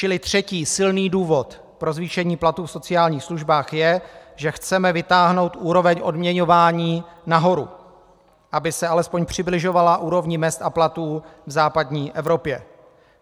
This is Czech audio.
Čili třetí silný důvod pro zvýšení platů v sociálních službách je, že chceme vytáhnout úroveň odměňování nahoru, aby se alespoň přibližovala úrovni mezd a platů v západní Evropě.